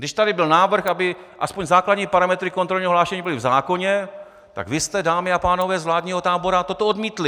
Když tady byl návrh, aby aspoň základní parametry kontrolního hlášení byly v zákoně, tak vy jste, dámy a pánové z vládního tábora, toto odmítli!